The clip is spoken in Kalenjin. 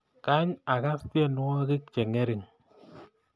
Kaay agas tyenwogik chengering